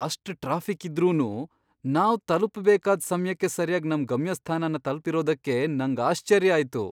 ಅಷ್ಟ್ ಟ್ರಾಫಿಕ್ ಇದ್ರೂನು, ನಾವ್ ತಲ್ಪುಬೇಕಾದ್ ಸಮ್ಯಕ್ಕೆ ಸರ್ಯಾಗ್ ನಮ್ ಗಮ್ಯಸ್ಥಾನನ್ ತಲ್ಪಿರೋದಕ್ಕೆ ನಂಗ್ ಆಶ್ಚರ್ಯ ಆಯ್ತು !